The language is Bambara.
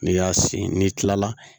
N'i y'a sin n'i tilala